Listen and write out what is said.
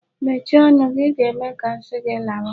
Mechie ọnụ gị! I ga-eme ka m si gi lawa.